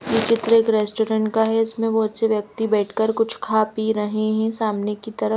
चित्र एक रेस्टोरेंट का है इसमें बहुत से व्यक्ति बैठकर कुछ खा पी रहे हैं सामने की तरफ--